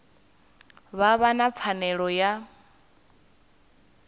vha vha na pfanelo ya